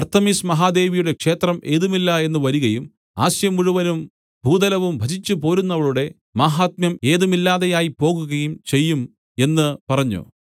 അർത്തെമിസ് മഹാദേവിയുടെ ക്ഷേത്രം ഏതുമില്ല എന്ന് വരികയും ആസ്യമുഴുവനും ഭൂതലവും ഭജിച്ചു പോരുന്നവളുടെ മാഹാത്മ്യം ഏതുമില്ലാതെയായിപോകുകയും ചെയ്യും എന്നു പറഞ്ഞു